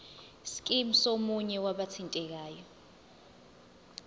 scheme somunye wabathintekayo